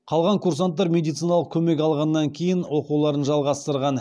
қалған курсанттар медициналық көмек алғаннан кейін оқуларын жалғастырған